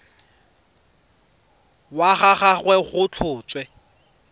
wa ga gagwe go tlhotswe